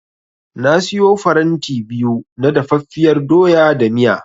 Na siyo faranti biyu na dafaffiyar doya da miya.